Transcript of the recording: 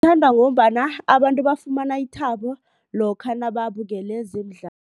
Ngombana abantu bafumana ithabo lokha nababukele